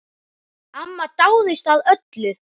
Amma dáðist að öllu.